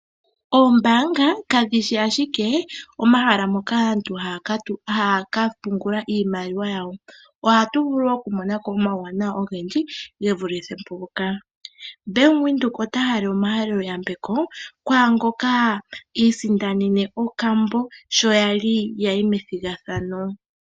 Oombaanga kadhishi ashike omahala moka aantu haya kapungula iimaliwa yawo. Ohatu vulu wo okumona ko omauwanawa ogendji ge vulithe mpoka. Bank Windhoek ota halele omahalelo yambeko kwaangoka i isindanene okambo sho yali yayi methigathano.